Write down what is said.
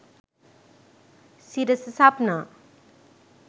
sirasa sapna